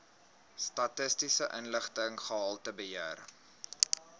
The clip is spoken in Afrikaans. statistiese inligting gehaltebeheer